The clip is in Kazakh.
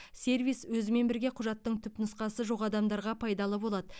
сервис өзімен бірге құжаттың түпнұсқасы жоқ адамдарға пайдалы болады